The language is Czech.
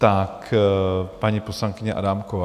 Tak paní poslankyně Adámková.